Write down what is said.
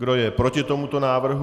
Kdo je proti tomuto návrhu?